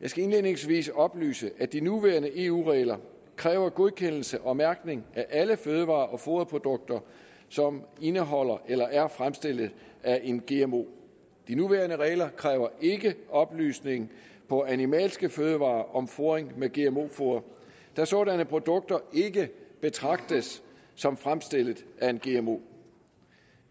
jeg skal indledningsvis oplyse at de nuværende eu regler kræver godkendelse og mærkning af alle fødevarer og foderprodukter som indeholder eller er fremstillet af en gmo de nuværende regler kræver ikke oplysning på animalske fødevarer om fodring med gmo foder da sådanne produkter ikke betragtes som fremstillet af en gmo